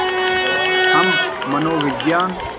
हम मनोविज्ञान